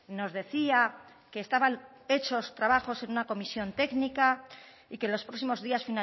nos decía que estaban hechos trabajos en una comisión técnica y que los próximos días